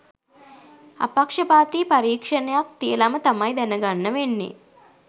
අපක්ෂපාති පරීක්ෂණයක් තියලම තමයි දැනගන්න වෙන්නේ